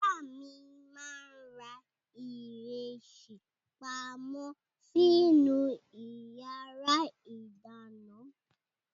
Ìyá mi máa ń ra ìrẹsì pamọ́ sínú ìyàrá-ìdáná.